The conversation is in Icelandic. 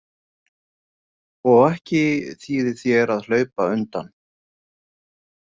Og ekki þýðir þér að hlaupa undan.